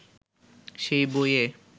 সেই বইয়ে